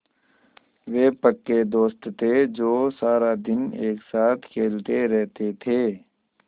वे पक्के दोस्त थे जो सारा दिन एक साथ खेलते रहते थे